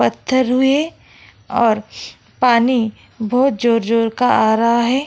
पत्थर हुए और पानी बहुत जोर-जोर का आ रहा है।